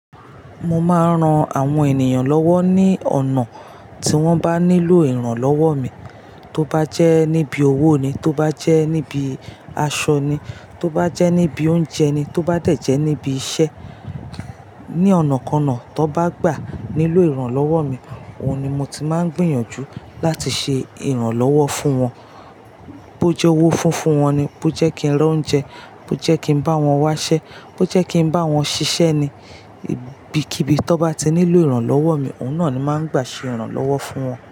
Mo máa ń ran àwọn ènìyàn lọ́wọ́ ní ọ̀nà tí wọ́n bá nílò ìrànlọ́wọ́ mi, tó bá jẹ́ níbi owó ni, tó bá jẹ́ níbi aṣọ ni, tó bá jẹ́ níbi oúnjẹ ni, tó bá dẹ̀ jẹ́ níbi iṣẹ́. Ni ọ̀nàkọnà tó bá gbà nílò ìrànlọ́wọ́ mi, òun ni mo ti máa ń gbìyànjú láti ṣe ìrànlọ́wọ́ fún wọn. Bó jẹ́ owó funfun wọn ni, bó jẹ́ kí n rán oúnjẹ, bó jẹ́ kí n bá wọn wáṣẹ́, bó jẹ́ kí n bá wọn ṣiṣẹ́ ni, ibikíbi tó bá ti nílò ìrànlọ́wọ́ mi, òun náà ni máa ń gbà ṣe ìrànlọ́wọ́ fún wọn.